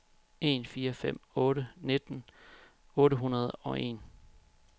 en fire fem otte nitten otte hundrede og en